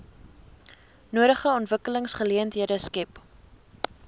nodige ontwikkelingsgeleenthede skep